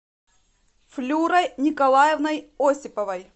флюрой николаевной осиповой